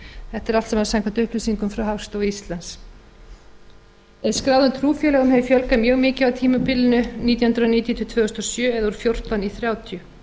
er allt saman samkvæmt upplýsingum frá hagstofu íslands skráðum trúfélögum hefur fjölgað mjög mikið á tímabilinu nítján hundruð níutíu til tvö þúsund og sjö eða úr fjórtán í þrjátíu